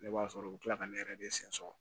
Ne b'a sɔrɔ u bɛ tila ka ne yɛrɛ de sen so